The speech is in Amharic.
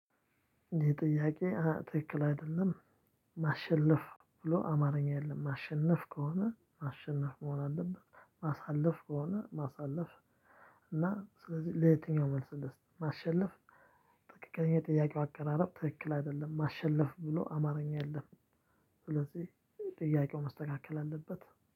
ይሄ ጥያቄ ትክክል አይደለም። ማሸለፍ ብሎ አማርኛ የለም ማሸነፍ ከሆነ ማሸነፍ መሆን አለበት ማሳለፍ ከሆነ ማሳለፍ። እና ስለዚህ ለየትኛው መልስ ልስጥ ማሸለፍ። ትክክለኛ የጥያቄው አቀራረብ ትክክል አይደለም ማሸለፍ ብሎ አማርኛ የለፍም። ስለዚህ ጥያቄው መስተካከል አለበት